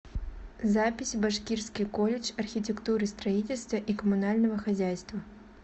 запись башкирский колледж архитектуры строительства и коммунального хозяйства